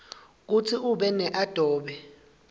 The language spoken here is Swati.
kutsi ube neadobe